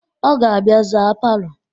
Ọ ga-abịa zaa palọ